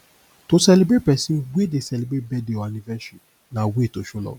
to celebrate persin wey dey celebrate birthday or anniversary na way to show love